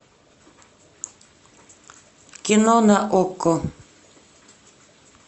кино на окко